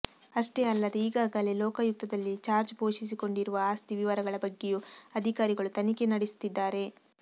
ಅಷ್ಟೇ ಅಲ್ಲದೇ ಈಗಾಗಲೇ ಲೋಕಾಯುಕ್ತದಲ್ಲಿ ಜಾರ್ಜ್ ಘೋಷಿಸಿಕೊಂಡಿರುವ ಆಸ್ತಿ ವಿವರಗಳ ಬಗ್ಗೆಯೂ ಅಧಿಕಾರಿಗಳು ತನಿಖೆ ನಡೆಸ್ತಿದ್ದಾರೆ